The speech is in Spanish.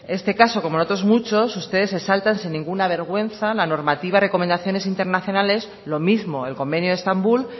en este caso como en otros muchos ustedes se saltan sin ninguna vergüenza la normativa de recomendaciones internacionales lo mismo el convenio de estambul